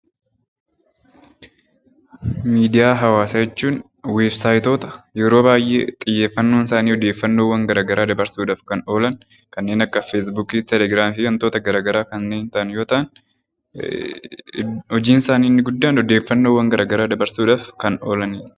Miidiyaa hawaasaa jechuun weebsaayitoota yeroo baay'ee xiyyeeffannoon isaanii odeeffannoowwan garagaraa dabarsuudhaaf kan oolan kanneen akka feesbuukii, telegiraamii fi wantoota garagaraa kanneen ta'an yoo ta'an, hojiin isaanii inni guddaan odeeffannoowwan garagaraa dabarsuudhaaf kan oolanii dha.